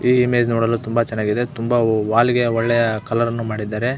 ಈ ಇಮೇಜ್ ನೋಡಲು ತುಂಬಾ ಚನ್ನಾಗಿದೆ ತುಂಬಾ ವಾಲ್ಗೆಯ ಒಳ್ಳೆಯ ಕಲರ್ ಅನ್ನು ಮಾಡಿದ್ದಾರೆ.